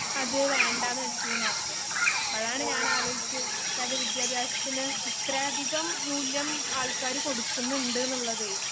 അത് വേണ്ടന്നുവെച്ചുന്നുപറഞ്ഞു അപ്പഴാണ് ഞാൻ ആലോചിച്ചത് വിദ്ത്യഭ്യാസത്തിനു ഇത്രയധികംമൂല്യം ആൾക്കാര് കൊടുക്കുന്നുണ്ട്ന്നുള്ളതേയ്